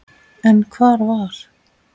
En hvar var